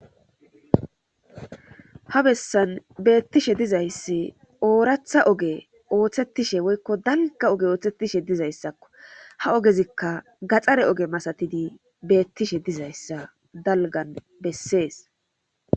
ha bessan beettishe dizayssi ooratha oge ooththettishe woykko dalga oge ooththettishe dizayssakko ha ogezikka gaxxare oge masatidi beettishe dizayssa dalgan bessees